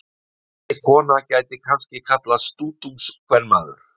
Þessi kona gæti kannski kallast stútungskvenmaður.